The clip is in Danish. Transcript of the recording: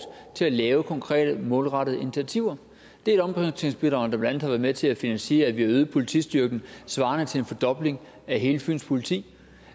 til at lave konkrete målrettede initiativer det er et omprioriteringsbidrag der blandt andet har været med til at finansiere at vi har øget politistyrken svarende til en fordobling af hele fyns politi